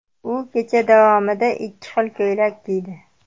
U kecha davomida ikki xil ko‘ylak kiydi.